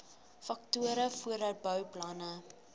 faktore voordat bouplanne